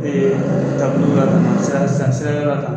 san san sira la tan.